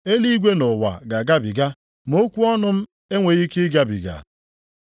Eluigwe na ụwa ga-agabiga, ma okwu m enweghị ike ịgabiga.